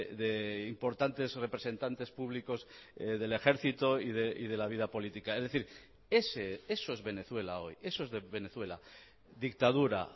de importantes representantes públicos del ejército y de la vida política es decir eso es venezuela hoy eso es venezuela dictadura